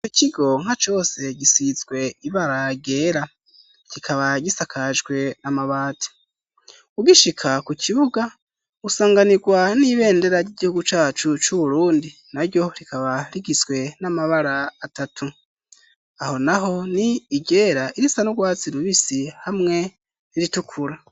Ico kigo nka cose gisizwe ibara ryera kikaba gisakajwe n'amabati ugishika ku kibuga usanganirwa n'ibendera ry'igihugu cacu c'uburundi na ryo rikaba rigizwe n'amabara atatu aho naho ni iryera irisa n'ugwatsi rubisi hamwe iritukura.